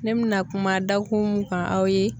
Ne bɛna kuma dakun mun kan aw ye